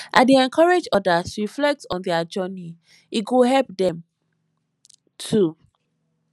i dey encourage others to reflect on their journey e go help dem too